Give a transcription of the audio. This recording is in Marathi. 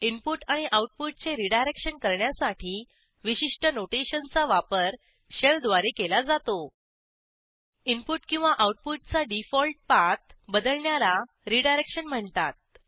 इनपुट आणि आऊटपुटचे रिडायरेक्शन करण्यासाठी विशिष्ठ नोटेशनचा वापर Shellद्वारे केला जातो इनपुट किंवा आऊटपुटचा डिफॉल्ट पाथ बदलण्याला रिडायरेक्शन म्हणतात